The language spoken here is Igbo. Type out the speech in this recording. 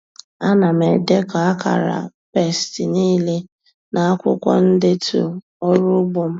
Ana m edekọ akara pesti niile n'akwụkwọ ndetu ọrụ ugbo m.